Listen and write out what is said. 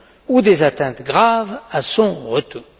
ou des atteintes graves à son retour.